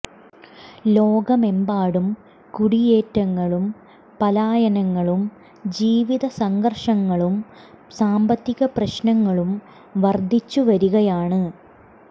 ലോകമെമ്പാടും കുടിയേറ്റങ്ങളും പലായനങ്ങളും ജീവിത സംഘര്ഷങ്ങളും സാമ്പത്തിക പ്രശ്നങ്ങളും വര്ദ്ധിച്ചു വരികയാണ്